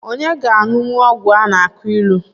Onye ga-aṅụnwu ọgwụ a na-akụ ilu?